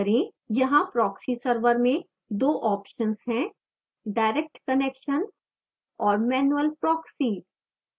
यहाँ proxy server में दो options हैं– direct connection और manual proxy